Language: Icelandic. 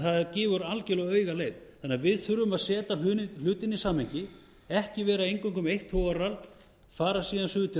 það gefur algjörlega auga leið við þurfum því að setja hlutina í samhengi ekki vera eingöngu með eitt togararall fara síðan suður til